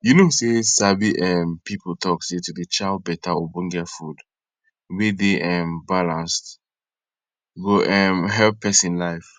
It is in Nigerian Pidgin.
you know say sabi um people talk say to dey chow beta ogbonge food wey dey um balance go um help pesin life